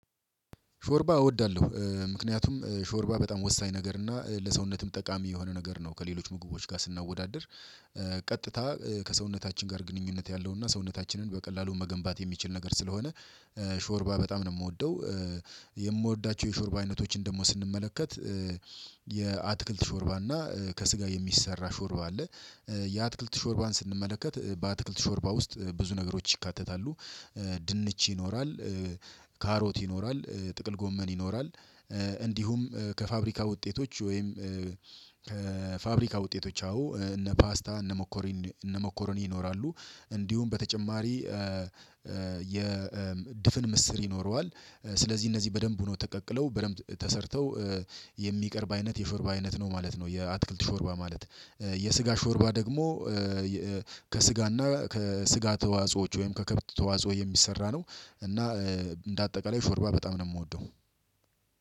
ሾርባ እወዳለሁ ምክንያቱም ሾርባ በጣም ወሳኝ ነገር እና ለሰውነትም ጠቃሚ የሆነ ነገር ነው ከሌሎች ምግቦች ጋር ስናወዳድር ቀጥታ ከሰውነታችን ጋር ግንኙነት ያለው እና ሰውነታችንን በቀላሉ መገንባት የሚችል ነገር ስለሆነ ሾርባ በጣም ነው የምወደው። የምወዳቸው የሾርባ አይነቶችን ደግሞ ስንመለከት የአትክልት ሾርባ እና ከስጋ የሚሰራ ሾርባ አለ። የአትክልት ሾርባን ስንመለከት በአትክልት ሾርባ ውስጥ ብዙ ነገሮች ይካተታሉ። ድንች ይኖራል። ካሮት ይኖራል ጥቅል ጎመን ይኖራል። እንዲሁም ከፋብሪካ ውጤቶች ወይም ከፋብሪካ ውጤቶች አዎ እነ ፓስታ እነ ሞኮረኒ እነ ሞኮረኒ ይኖራሉ። እንዲሁም በተጨማሪ የ ድፍን ምስር ይኖረዋል ስለዚህ እነዚህ በደንብ ሁኖ ተቀቅለው በደንብ ተሰርተው የሚቀርብ አይነት የሾርባ አይነት ነው ማለት ነው። የአትክልት ሾርባ ማለት። የስጋ ሾርባ ደግሞ ከስጋ እና ከስጋ ተዋጾዎች ወይም ከከብት ተዋጾ የሚሰራ ነው። እና እንደ አጠቃላይ ሾርባ በጣም ነው የምወደው።